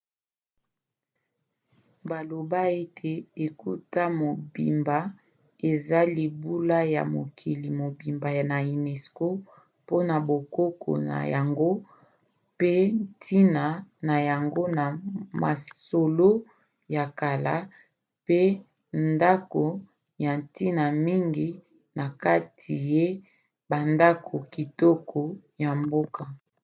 baloba ete etuka mobimba eza libula ya mokili mobimba na unesco mpona bokoko na yango pe ntina na yango na masolo ya kala pe ndako ya ntina mingi na kati ya bandako kitoko ya mboka